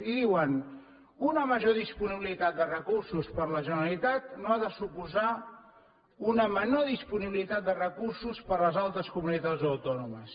i diuen una major disponibilitat de recursos per a la generalitat no ha de suposar una menor disponibilitat de recursos per a les altres comunitats autònomes